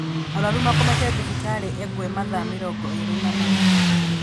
Arwaru makomete thibitarĩ engwe mathaa mĩrongo ĩĩrĩ na mana